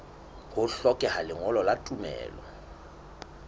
ho hlokeha lengolo la tumello